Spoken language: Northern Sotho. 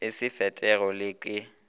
e sa fetwego le ke